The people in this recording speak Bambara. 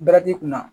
kunna